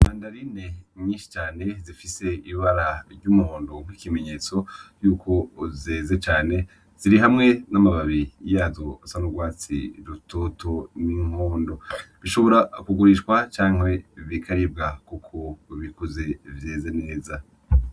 Mandarine nyishi cane zifise ibara ry'umuhondo gw' ikimenyetso yuko zeze cane zirihamwe n' amababi yazo asa n' ugwatsi rutoto n' umuhondo, bishobora kugurishwa canke bikaribwa kuko bikuze vyeze neza.